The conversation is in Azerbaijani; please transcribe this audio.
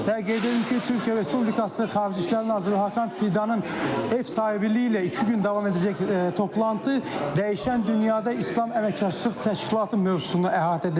Və qeyd edim ki, Türkiyə Respublikası Xarici İşlər Naziri Hakan Fidanın ev sahibliyi ilə iki gün davam edəcək toplantı dəyişən dünyada İslam Əməkdaşlıq Təşkilatı mövzusunu əhatə edəcək,